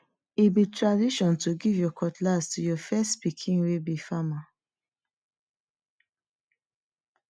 e be tradition to give your cutlass to your first pikin wey be farmer